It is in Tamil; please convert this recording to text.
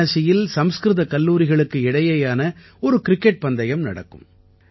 வாராணசியில் சம்ஸ்கிருத கல்லூரிகளுக்கு இடையேயான ஒரு கிரிக்கெட் பந்தயம் நடக்கும்